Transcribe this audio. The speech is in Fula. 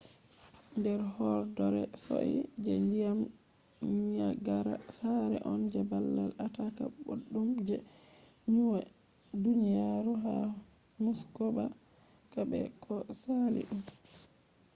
nder horɗoore sosai je ndiyam niyagara sare on je babal ataaka boɗɗum je duniyaru ha muskoka be ko sali ɗum